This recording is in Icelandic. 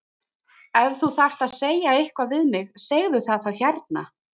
Ef þú þarft að segja eitthvað við mig segðu það þá hérna!